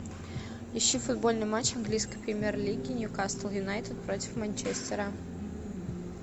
ищи футбольный матч английской премьер лиги ньюкасл юнайтед против манчестера